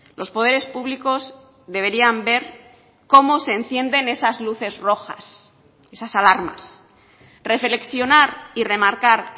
los poderes públicos deberían ver como se encienden esas luces rojas esas alarmas reflexionar y remarcar